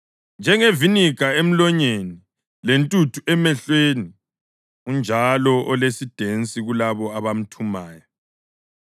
Njengeviniga emlonyeni, lentuthu emehlweni, unjalo olesidensi kulabo abamthumayo.